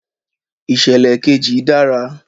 Ìṣẹ̀lẹ̀ kejì dára.